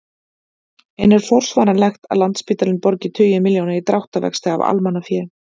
En er forsvaranlegt að Landspítalinn borgi tugi milljóna í dráttarvexti af almannafé?